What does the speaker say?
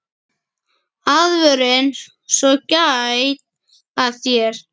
Aðvörun svo gæt að þér.